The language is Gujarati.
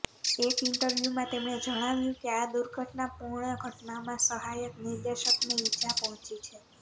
એક ઇન્ટરવ્યૂમાં તેમણે જણાવ્યું કે આ દુર્ઘટનાપૂર્ણ ઘટનામાં સહાયક નિર્દેશકને ઇજા પહોંચી છે